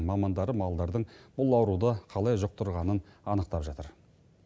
мамандары малдардың бұл ауруды қалай жұқтырғанын анықтап жатыр